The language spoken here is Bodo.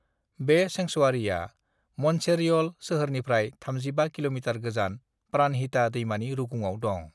बे सेंक्सुवारिआ मन्चेरियल सोहोरनिफ्राय 35 कि.मि. गोजान प्राणहिता दैमानि रुगुंआव दं।